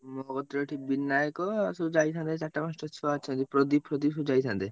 ଓହୋ! ଯୋଉଠି ବିନାୟକ ଆଉ ସବୁ ଯାଇଥାନ୍ତେ ଚାରିଟା ପାଞ୍ଚଟା ଛୁଆ ଅଛନ୍ତି ପ୍ରଦୀପ ଫ୍ରଦୀପ ସବୁ ଯାଇଥାନ୍ତେ?